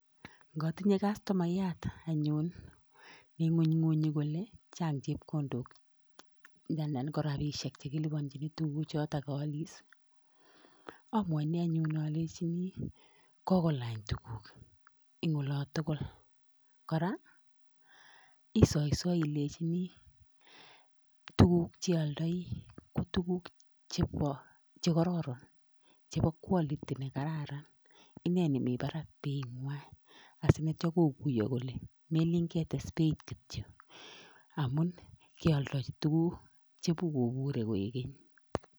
Ngatinye kastomayat anyun neimunymunyi kole chang' chepkondok, anan ko rapishek chekilipanjini tuguk chotok kaalis amwaini anyun alechini kogolany tuguk eng' ola tugul, koraa isoisoi ilechini tuguk cheialdoi ko tuguk chekaroron chepo quality nekararan ineni mi parak beit asinetyo koguyo kole melin ketes beit kityo amun kealdochi tuguk chepikopure kogeny.